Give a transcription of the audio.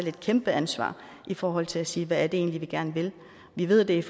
et kæmpeansvar i forhold til at sige hvad vi egentlig gerne vil vi ved at der